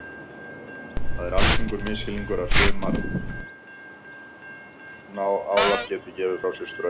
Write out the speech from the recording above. Það er algengur misskilningur að sumir álar geti gefið frá sér straum.